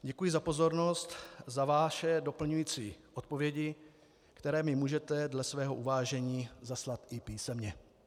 Děkuji za pozornost, za vaše doplňující odpovědi, které mi můžete dle svého uvážení zaslat i písemně.